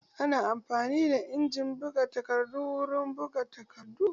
Ana amfani da injin buga takardu wurin buga takardu.